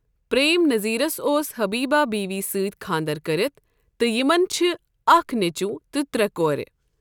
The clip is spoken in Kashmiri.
پریم نذیرَس اوس حبیبہ بیوی یہِ سۭتۍ خانٛدَر کٔرِتھ تہٕ یِمَن چھِ اکھ نیٚچوٗ تہٕ ترٛےٚ کورِ۔